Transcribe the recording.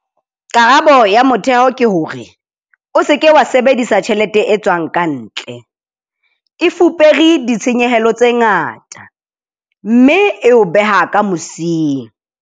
Karabo ya motheo ke hore - o se ke wa sebedisa tjhelete e tswang ka ntle, e fupere ditshenyehelo tse ngata, mme e o beha ka mosing.